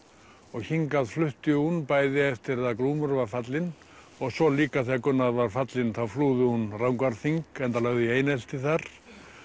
og hingað flutti hún bæði eftir að Glúmur var fallinn og svo líka þegar Gunnar var fallinn þá flúði hún Rangárþing enda lögð í einelti þar